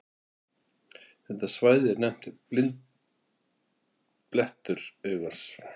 Þetta svæði er nefnt blindblettur augans.